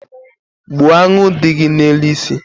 Gbuo aṅụ dị gị n’elu isi